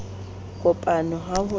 kopano le ha ho le